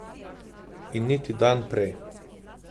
In niti dan prej.